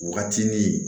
Waatinin